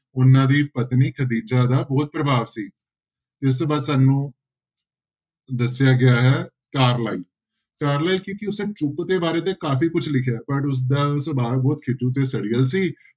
ਉਹਨਾਂ ਦੀ ਪਤਨੀ ਖਦੀਜ਼ਾ ਦਾ ਬਹੁਤ ਪ੍ਰਭਾਵ ਸੀ ਇਸ ਤੋਂ ਬਾਅਦ ਸਾਨੂੰ ਦੱਸਿਆ ਗਿਆ ਹੈ ਕਾਰਲਾਇਲ ਕਾਰਲਾਇਲ ਚੁੱਪ ਦੇ ਬਾਰੇ ਤੇ ਕਾਫ਼ੀ ਕੁਛ ਲਿਖਿਆ ਹੈ ਪਰ ਉਸਦਾ ਸੁਭਾਅ ਬਹੁਤ ਖਿਝੂ ਤੇ ਸੜੀਅਲ ਸੀ,